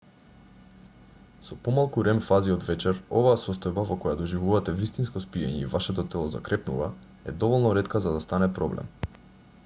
со помалку рем-фази од вечер оваа состојба во која доживувате вистинско спиење и вашето тело закрепнува е доволно ретка за да стане проблем